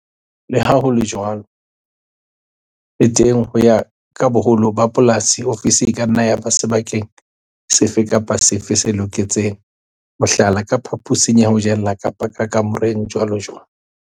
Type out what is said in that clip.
Le ha ho le jwalo, le teng ho ya ka boholo ba polasi, ofisi e ka nna ya ba sebakeng sefe kapa sefe se loketseng, mohlala, ka phaposing ya ho jela kapa ka kamoreng, jwalojwalo.